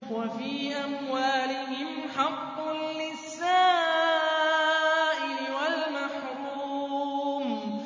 وَفِي أَمْوَالِهِمْ حَقٌّ لِّلسَّائِلِ وَالْمَحْرُومِ